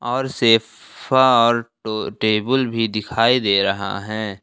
और सेफा और टो टेबुल भी दिखाई दे रहा है।